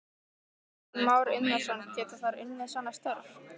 Kristján Már Unnarsson: Geta þær unnið svona störf?